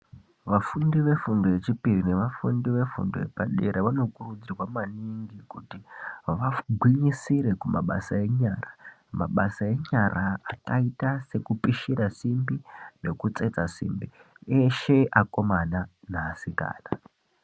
Vafundi vefundo yechipiri nevafundi yepadera vanokuridzirwa maningi kuti vagwinyisire kumabasa enyara akaita sekupishira simbi nekutsetsa simbi eshe akomana neasikana.